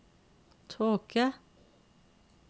tåke